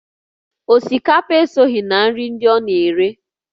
Osikapa esoghị na nri ndị ọ na-ere